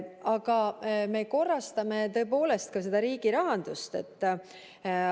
Aga me korrastame tõepoolest ka riigi rahandust.